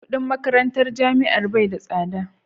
kudin makarantar jami'a bai da tsada da